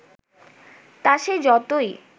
তা সে যতই